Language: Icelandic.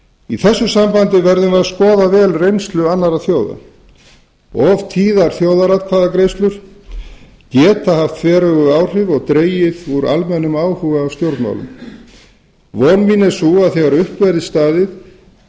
í þessu sambandi verðum við að skoða vel reynslu annarra þjóða of tíðar þjóðaratkvæðagreiðslur geta haft þveröfug áhrif og dregið úr almennum áhuga á stjórnmálum von mín er sú að þegar upp verði staðið getum